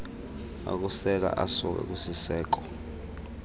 okusela asuka kwisiseko